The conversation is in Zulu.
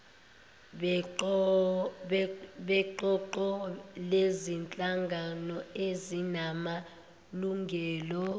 beqoqo lezinhlangano ezinamalungelo